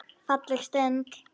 Falleg stund.